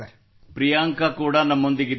ಪ್ರಿಯಾಂಕಾ ಕೂಡ ನಮ್ಮೊಂದಿಗಿದ್ದಾರೆ